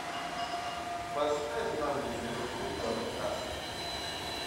поставь нам ливерпуль ньюкасл